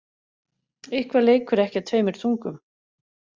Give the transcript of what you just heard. Eitthvað leikur ekki á tveimur tungum